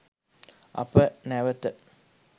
අප නැවත